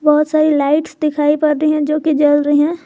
बहोत सारी लाइट्स दिखाई पड़ रही हैं जो कि जल रहे हैं।